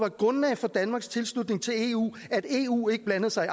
et grundlag for danmarks tilslutning til eu at eu ikke blandede sig i